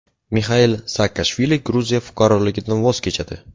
Mixail Saakashvili Gruziya fuqaroligidan voz kechadi.